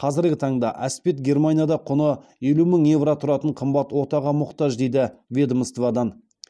қазіргі таңда әспет германияда құны елу мың евро тұратын қымбат отаға мұқтаж дейді ведомстводан